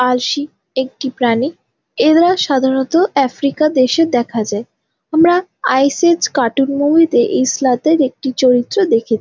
আলশি একটি প্রাণী | এরা সাধারণত আফ্রিকা দেশে দেখা যায় | আমরা আইস এইজ কার্টুন মুভিতে এই একটি চরিত্র দেখে--